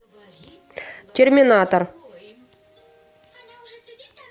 терминатор